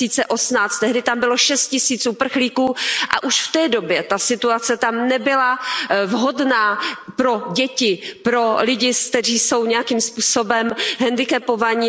2018. Tehdy tam bylo šest tisíc uprchlíků a už v té době ta situace tam nebyla vhodná pro děti, pro lidi, kteří jsou nějakým způsobem hendikepovaní.